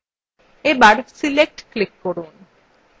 এবার select click করুন